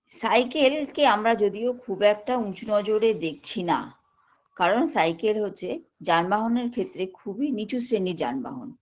cycle কে যদিও বা খুব একটা আমরা উঁচু নজরে দেখছি না কারণ cycle হচ্ছে যানবাহনের ক্ষেত্রে খুবই নীচু শ্রেণীর যানবাহন